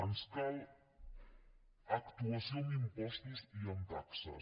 ens cal actuació amb impostos i amb taxes